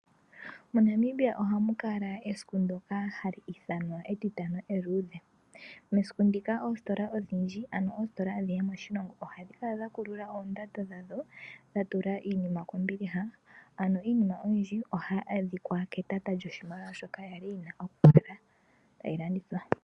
MoNamibia ohamu kala esiku ndyoka hali ithanwa etitano eluudhe. Mesiku ndika oositola odhindji nenge oositola adhihe moshilongo ohadhi kala dha kulula oondando dhadho , dha tula iinima kombiliha. Iinima oyindji ohayi adhika ketata lyoshimaliwa shoka ya li tayi landithwa.